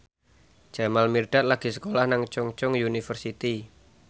Jamal Mirdad lagi sekolah nang Chungceong University